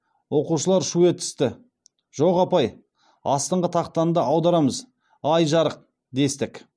оқушылар шу етісті жоқ апай астыңғы тақтаны да аударамыз ай жарық дестік